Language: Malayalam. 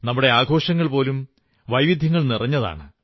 നമ്മുടെ ആഘോഷങ്ങൾ പോലും വൈവിധ്യങ്ങൾ നിറഞ്ഞതാണ്